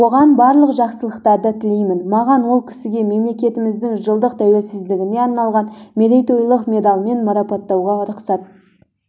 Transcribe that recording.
оған барлық жақсылықтар тілеймін маған ол кісіге мемлекетіміздің жылдық тәуелсіздігіне арналған мерейтойлық медальмен марапаттауға рұқсат